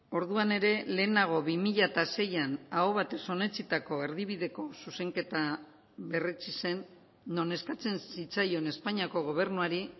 orduan ere lehenago bi mila seian aho batez onetsitako erdibideko zuzenketa berretsi zen non eskatzen zitzaion espainiako gobernuari